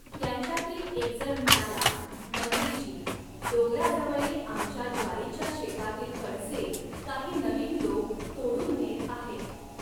त्यांच्यातील एकजण म्हणाला मंत्रीजी, डोंगराजवळील आमच्या ज्वारीच्या शेतातील कणसें काही नवीन लोक तोडून नेत आहेत.